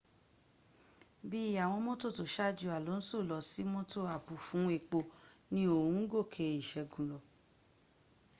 bí àwọn mótò tó ṣájú alonso lọsí mọ́tò àbò fún epo ni oun ń gòkè ìṣẹ́gun lọ